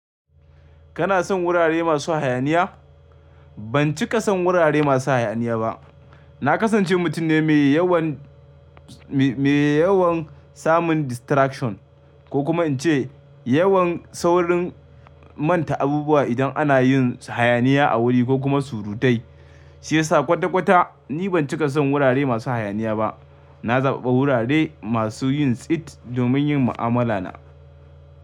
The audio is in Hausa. Kana son wurare masu hayaniya? Ban cika son wurare masu hayaniya ba. Na kasance mutum ne mai yawan, mai yawan samun distraction ko kuma in ce yawan saurin manta abubuwa idan ana yin hayaniya a wuri ko kuma surutai. Shi ya sa kwata kwata ni ban cika son wurare masu hayaniya ba. Na zaɓaɓa wurare masu yin tsit domin yin mu'amala na.